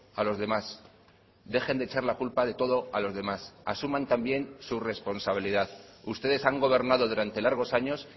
a los demás dejen de echar la culpa de todo a los demás asuman también su responsabilidad ustedes han gobernado durante largos años